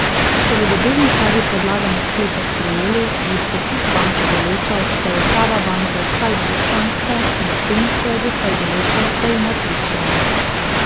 Če bodo delničarji predlagane sklepe sprejeli, bo statut banke določal, da je uprava banke vsaj dvočlanska, medtem ko je doslej določal, da ima tri člane.